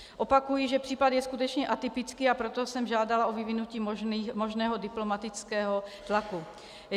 Opakuji, že případ je skutečně atypický, a proto jsem žádala o vyvinutí možného diplomatického tlaku.